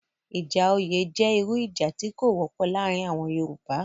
Ìjà oyè jẹ́ irú ìjà tí kò wọ́pọ̀ laarin àwọn Yoruba